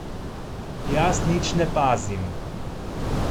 Jaz nič ne pazim.